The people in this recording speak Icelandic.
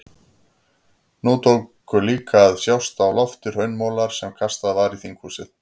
Nú tóku líka að sjást á lofti hraunmolar sem kastað var í þinghúsið.